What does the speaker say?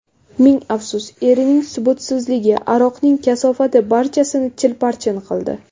Ming afsus, erining subutsizligi, aroqning kasofati barchasini chilparchin qildi.